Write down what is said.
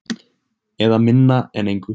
Eða minna en engu.